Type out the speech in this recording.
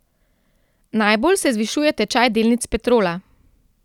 Najbolj se zvišuje tečaj delnic Petrola.